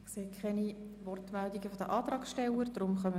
Ich sehe nicht, dass sich die Antragsteller zu Wort melden möchten.